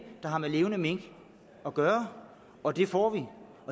der har med levende mink at gøre og det får vi